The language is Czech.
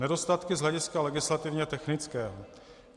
Nedostatky z hlediska legislativně technického.